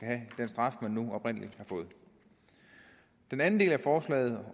have den straf man nu oprindelig har fået den anden del af forslaget